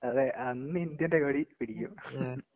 അതെ അന്നിന്ത്യേന്റെ കൊടി പിടിക്കും.